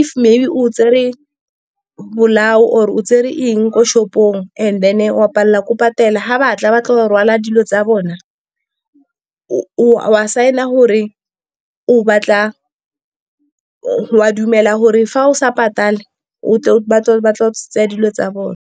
if maybe, o tsere bolao or o tsere eng ko shop-ong, and then wa palelwa ke go patela. Ga batla batlo go rwala dilo tsa bona, o a saena o a dumela gore fa o sa patale ba tla tseya dilo tsa bone.